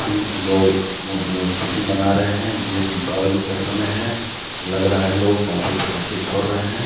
कि लोग म खुशी मना रहे हैं ये दीपावली का समय है लग रहा है लोग काफी पटाखे छोड़ रहे हैं।